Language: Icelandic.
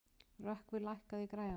Rökkvi, lækkaðu í græjunum.